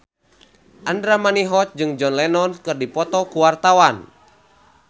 Andra Manihot jeung John Lennon keur dipoto ku wartawan